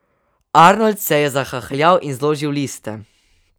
Arnold se je zahahljal in zložil liste.